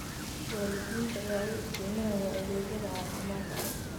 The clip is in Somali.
Waalidiinta ayaa u iftiiminaya adeegyada caafimaadka.